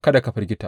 Kada ka firgita!